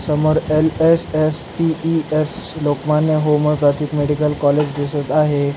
समोर LSSPES. Lokmanya homeopathic medical college दिसत आहे.